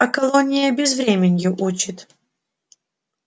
а колония безвременью учит